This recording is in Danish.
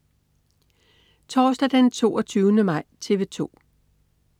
Torsdag den 22. maj - TV 2: